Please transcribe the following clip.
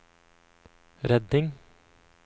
redning